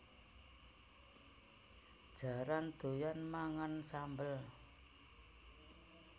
Jaran doyan mangan sambel